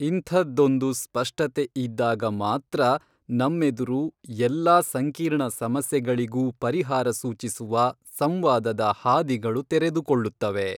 ಇಂಥದ್ದೊಂದು ಸ್ಪಷ್ಟತೆ ಇದ್ದಾಗ ಮಾತ್ರ ನಮ್ಮೆದುರು ಎಲ್ಲಾ ಸಂಕೀರ್ಣ ಸಮಸ್ಯೆಗಳಿಗೂ ಪರಿಹಾರ ಸೂಚಿಸುವ ಸಂವಾದದ ಹಾದಿಗಳು ತೆರೆದುಕೊಳ್ಳುತ್ತವೆ.